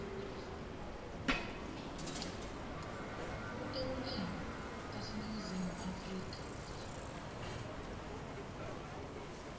kutekulima taseningizimu afrika